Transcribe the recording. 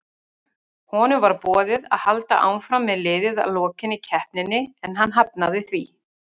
Honum var boðið að halda áfram með liðið að lokinni keppninni en hann hafnaði því.